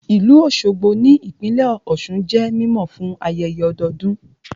Ìlú Òṣogbo ní ìpínlẹ̀ Ọ̀sun jẹ́ mímọ̀ fún ayẹyẹ ọdọdún